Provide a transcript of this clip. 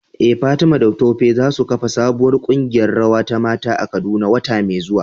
Eh Fatima da Tope za su kafa sabuwar kungiyar rawa ta mata a Kaduna wata mai zuwa.